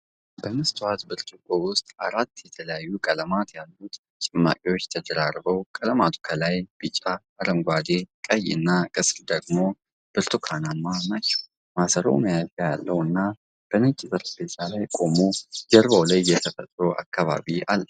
በመስታወት ብርጭቆ ውስጥ አራት የተለያዩ ቀለማት ያሉት ጭማቂዎች ተደራርበዋል፤ ቀለማቱ ከላይ ቢጫ፣ አረንጓዴ፣ ቀይ እና ከስር ደግሞ ብርቱካንማ ናቸው። ማሰሮው መያዣ ያለው እና፣ በነጭ ጠረጴዛ ላይ ቆሞ፣ ጀርባው ላይ የተፈጥሮ አካባቢ አለ።